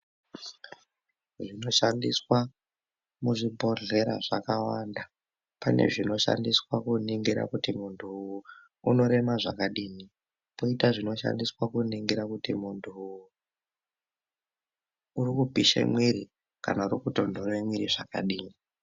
Zvinoshandiswa muzvibhedhlera zvakawanda, pane zvinoshandiswa kuningira kuti muntu unorema zvakadini. Koita zvinoshandiswa kuningira kuti muntu urikupishe mwiri kana kutonhore mwiri zvakadii.